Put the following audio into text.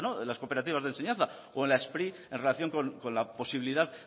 de las cooperativas de enseñanza o en la spri en relación con la posibilidad